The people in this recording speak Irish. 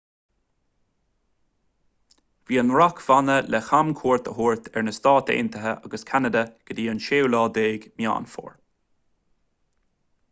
bhí an rac-bhanna le camchuairt a thabhairt ar na stáit aontaithe agus ceanada go dtí an 16 meán fómhair